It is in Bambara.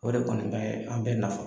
O de kɔni bɛ an bɛ nafa